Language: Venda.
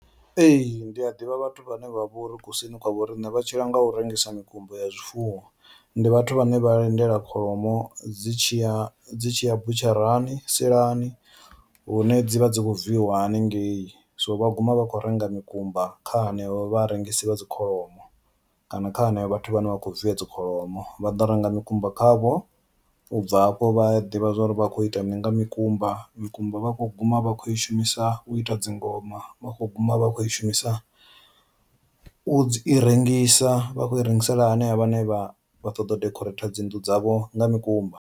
Ee, ndi a ḓivha vhathu vhane vha vhori kusini kwa vho riṋe vha tshila nga u rengisa mikumba ya zwifuwo ndi vhathu vhane vha lindela kholomo dzi tshi ya dzi tshi ya butsharani silani hune dzi vha dzi kho viiwa haningei, so vha guma vha kho renga mikumba kha hanevho vharengisi vha dzi kholomo kana kha henevho vhathu vhane vha khou viya dzi kholomo vha ḓo renga mikumba kha vho ubva hafho vha ḓivha zwori vha kho ita mini nga mikumba. Mikumba vha kho guma vha kho i shumisa u ita dzingoma vha kho guma a vha khou i shumisa u dzi i rengisa vha khou i rengisela hanevha vhane vha vha ṱoḓa u dekhoreitha dzi nnḓu dzavho nga mikumba.